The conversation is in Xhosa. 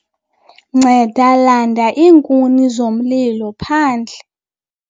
nceda landa iinkuni zomlilo phandle